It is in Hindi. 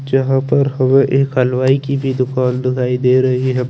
जहाँ पर हमे एक हलवाई कि दूकान दिखाई दे रही है।